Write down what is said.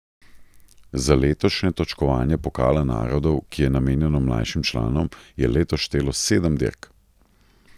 Za letošnje točkovanje pokala narodov, ki je namenjeno mlajšim članom, je letos štelo sedem dirk.